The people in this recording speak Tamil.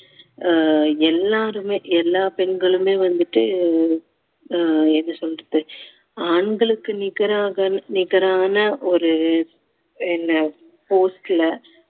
ஆஹ் எல்லாருமே எல்லா பெண்களுமே வந்துட்டு ஆஹ் என்ன சொல்றது ஆண்களுக்கு நிகராக நிகரான ஒரு என்ன post ல